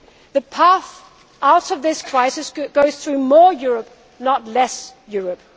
problem. The path out of this crisis goes through more Europe, not less